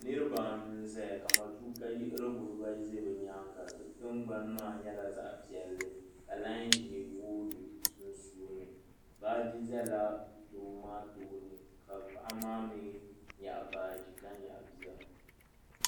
Niriba anu n zaya ka matuuka yiɣirigu bibaayi za bɛ nyaanga bɛ tingbani maa nyɛla zaɣa piɛlli ka lai ʒee booi di sunsuuni baaji zala doo maa tooni ka paɣa maa mee nyaɣi baaji ka nyaɣi bia.